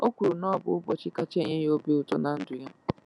O kwuru na ọ bụ ụbọchị kacha enye ya obi ụtọ ná ndụ ya.